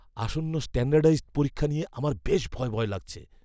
আসন্ন স্ট্যান্ডার্ডাইজড পরীক্ষাটা নিয়ে আমার বেশ ভয় ভয় লাগছে।